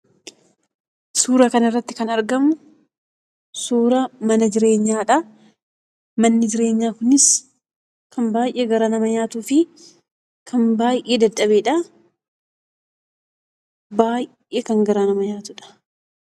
Suura kan irratti kan argamu suuraa mana jireenyaadha. Manni jireenyaa kunis kan baay'ee garaa nama nyaatufi kan baay'ee dadhabedha. Baay'ee kan garaa nama nyaatudha.